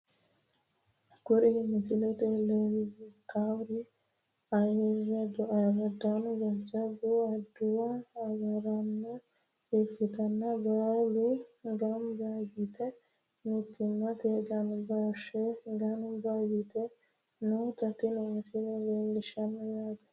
Kuri misilete leeltawori ayiiradunna jajabu aduwu agaraano ikite baalu ganba yite mitimmate ganbooshe ganba yite noota tini misile leelishano yaate.